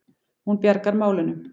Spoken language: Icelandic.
Hún bjargar málunum.